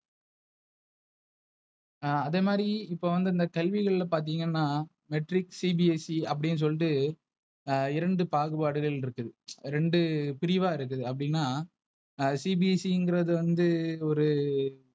ஆஹ் அதே மாதிரி இப்ப வந்து இந்த கல்விகள்ல பாத்தீங்கன்னா. Matric CBSE அப்டின்னு சொல்லிட்டு இரண்டு பாகுபாடுகள் இருக்குது. ரெண்டு பிரிவா இருக்கு அப்டினா CBC ங்கறது வந்து ஒரு,